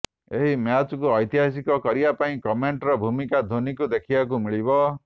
ଏହି ମ୍ୟାଚକୁ ଐତିହାସିକ କରିବା ପାଇଁ କମେଣ୍ଟେଟର୍ ଭୂମିକାରେ ଧୋନିଙ୍କୁ ଦେଖିବାକୁ ମିଳିବ